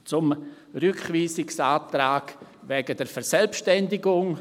Zum Rückweisungsantrag betreffend die Verselbstständigung: